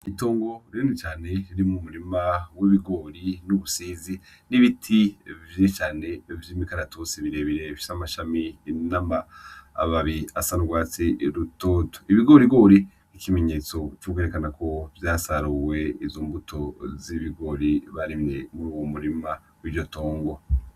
Itongo ririne cane riri mu murima w'ibigori n'ubusizi n'ibiti vyicane vy'imikaratosi birebirefyoamashami indama ababi asarwatsi rutoto ibigorigoriko ikimenyetso c'ukugerekanako vya saruwe izo mbuto z'ibigori barimwe muri uwo murima w'ijoto unga.